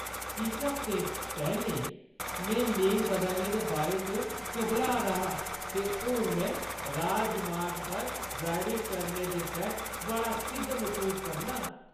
किश हफ्ते पैह्‌लें, में लेन बदलने दे बारे च घबरा दा हा, ते हून में राजमार्ग पर ड्राइविंग करने दे परैंत्त बड़ा सिद्ध मसूस करनां!